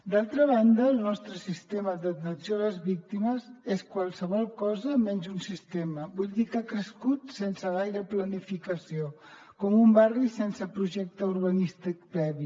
d’altra banda el nostre sistema d’atenció a les víctimes és qualsevol cosa menys un sistema vull dir que ha crescut sense gaire planificació com un barri sense projecte urbanístic previ